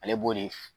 Ale b'o de